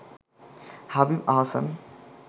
Habib Ahsan